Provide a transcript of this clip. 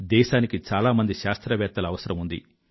దేశానికి చాలా మంది శాస్త్రవేత్తల అవసరం ఉంది